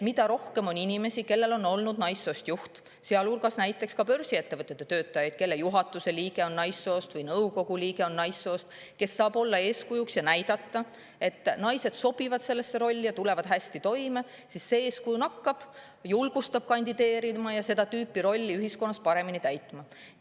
Mida rohkem on inimesi, kellel on olnud naissoost juht, sealhulgas näiteks börsiettevõtete töötajaid, kelle juhatuse või nõukogu liige on naissoost, kes saab olla eeskujuks ja näidata, et naised sobivad sellesse rolli ja tulevad hästi toime, siis see eeskuju nakkab, julgustab kandideerima ja seda rolli ühiskonnas paremini täitma.